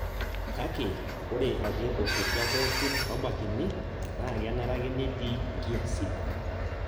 kake ore ake tosotua pookin obakini na kenare ake netii inkiiasin